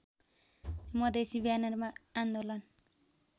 मधेसी ब्यानरमा आन्दोलन